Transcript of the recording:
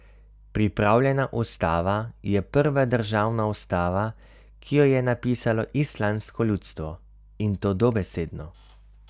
Pripravljena ustava je prva državna ustava, ki jo je napisalo islandsko ljudstvo, in to dobesedno.